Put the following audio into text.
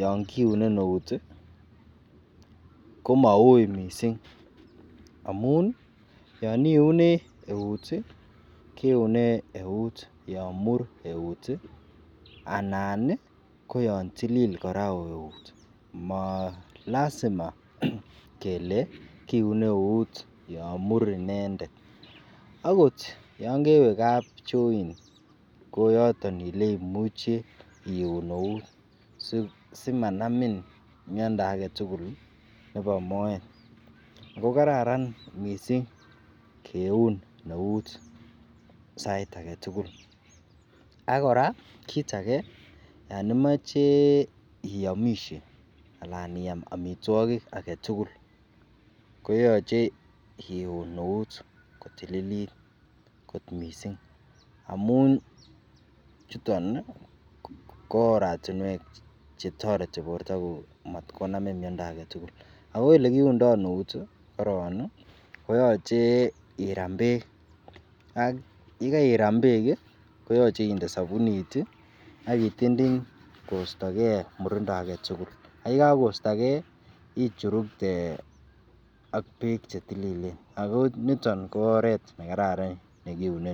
yoon kiune neuut iih komauui mising, amuun yoon iune euut iih kiune euut yoon muur eut iih anan iih koyaan tililil koraa euut, molasima kelee kiune euut yoon muur inendet, agoot yoon kewe kapchoin koyoton eleimuchi iuun neuut simanamin myondo agetugul nebo moeet, ago kararan mising keuu neuut sait agetugul, ak koraa kiit age yon imoche iomishe anaan iyaam omitwogik agetugul ko yoche iuun neuut kotililit kot mising amuun chuton iih kooratinweek chetoreti kotkomanani myondo agetugul, ago elegiundoo euut koroon iih koyoche iraam beek yegairaam beek iih koyoche inde sabuunit iih ak itinyndiny koistogee murindo agetugul yegagoistogee ichurukte ak beek chetililen ago nitoon koo oreet negararan negiuneen.